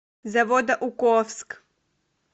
заводоуковск